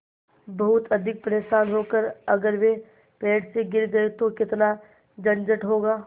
बहुत अधिक परेशान होकर अगर वे पेड़ से गिर गए तो कितना झंझट होगा